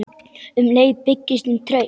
Um leið byggist upp traust.